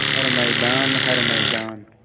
हर मैदान हर मैदान